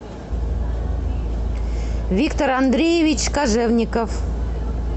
виктор андреевич кожевников